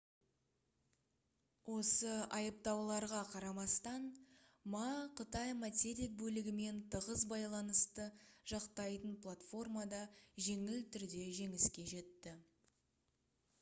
осы айыптауларға қарамастан ма қытай материк бөлігімен тығыз байланысты жақтайтын платформада жеңіл түрде жеңіске жетті